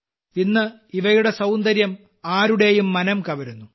ഇന്ന് ഇവയുടെ സൌന്ദര്യം ആരുടെയും മനംകവരുന്നു